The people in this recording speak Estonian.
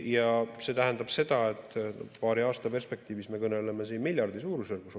Ja see tähendab seda, et paari aasta perspektiivis me opereerime siin miljardi suurusjärgus.